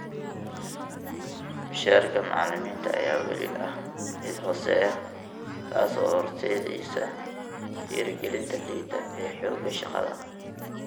Mushaharka macallimiinta ayaa weli ah mid hooseeya, taas oo horseedaysa dhiirigelinta liita ee xoogga shaqada.